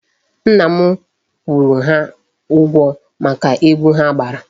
Nna m kwụrụ ha ụgwọ maka egwu ha gbara.